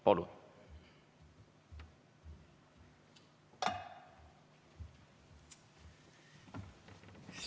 Palun!